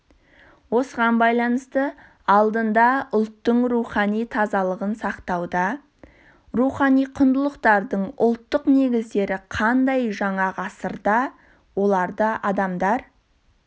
осыған байланысты алдында ұлттың рухани тазалығын сақтауда рухани құндылықтардың ұлттық негіздері қандай жаңа ғасырда оларды адамдар